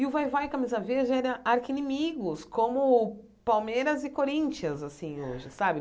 E o vai-vai e camisa-verde era arquinimigos, como Palmeiras e Corinthians, assim, hoje, sabe?